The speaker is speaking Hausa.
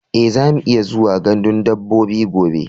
E, zamu iya zuwa gandun dabbobi gobe.